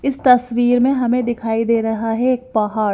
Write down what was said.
इस तस्वीर में हमें दिखाई दे रहा है एक पहाड़--